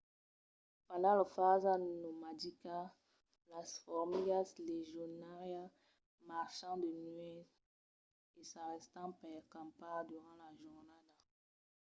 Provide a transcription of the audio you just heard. pendent lor fasa nomadica las formigas legionàrias marchan de nuèch e s’arrèstan per campar durant la jornada